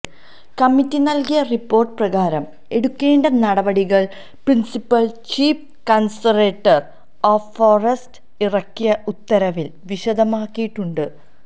committee നല്കിയ report പ്രകാരം എടുക്കേണ്ട നടപടികള് principal chief conservator of forest ഇറക്കിയ ഉത്തരവില് വിശദമാക്കിയിട്ടുണ്ട്